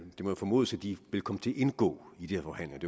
må jo formodes at de vil komme til at indgå i de her forhandlinger